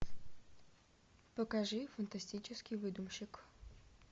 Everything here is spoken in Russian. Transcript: покажи фантастический выдумщик